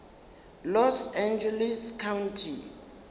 los angeles county